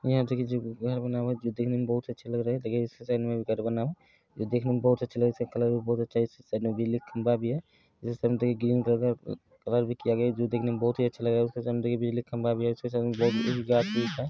हीया देखे छीये घर बना हुआ है जो देखने में बहुत ही अच्छा लग रहा है देखने में बहोत अच्छा लग रहा है इसका कलर भी बहोत अच्छा लग रहा है घर के सामने बिजली का खंबा है जो बहुत ही अच्छा लग रहा है गाछ वृक्ष है।